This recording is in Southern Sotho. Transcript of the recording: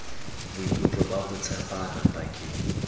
boikutlo ba ho tshepana pakeng